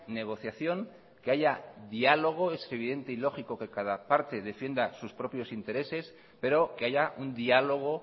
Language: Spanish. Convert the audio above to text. negociación que haya diálogo es evidente y lógico que cada parte defienda sus propios intereses pero que haya un diálogo